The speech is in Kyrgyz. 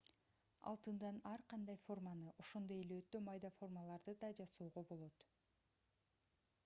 алтындан ар кандай форманы ошондой эле өтө майда формаларды да жасоого болот